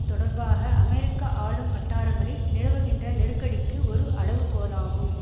தொடர்பாக அமெரிக்க ஆளும் வட்டாரங்களில் நிலவுகின்ற நெருக்கடிக்கு ஒரு அளவுகோலாகும்